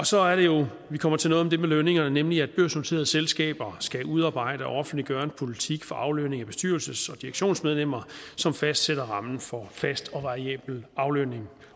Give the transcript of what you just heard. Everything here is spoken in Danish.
så er det jo vi kommer til noget om det med lønningerne nemlig at børsnoterede selskaber skal udarbejde og offentliggøre en politik for aflønning af bestyrelses og direktionsmedlemmer som fastsætter rammen for fast og variabel aflønning